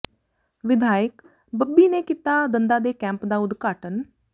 ਵਿਧਾਇਕ ਬੱਬੀ ਨੇ ਕੀਤਾ ਦੰਦਾਂ ਦੇ ਕੈਂਪ ਦਾ ਉਦਘਾਟਨ